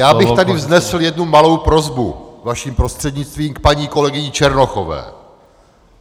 Já bych tady vznesl jednu malou prosbu, vaším prostřednictvím, k paní kolegyni Černochové.